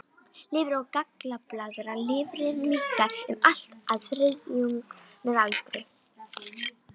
Lifur og gallblaðra Lifrin minnkar um allt að þriðjung með aldri.